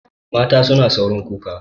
Mata suna saurin kuka.